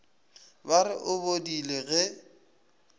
ba re o bodile ge